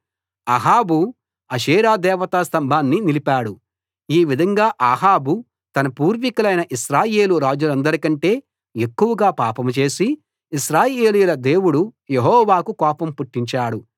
అహాబు అషేరా దేవతాస్తంభాన్ని నిలిపాడు ఈ విధంగా అహాబు తన పూర్వికులైన ఇశ్రాయేలు రాజులందరికంటే ఎక్కువగా పాపం చేసి ఇశ్రాయేలీయుల దేవుడు యెహోవాకు కోపం పుట్టించాడు